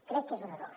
crec que és un error